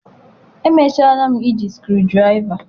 Emechara m iji screwdriver.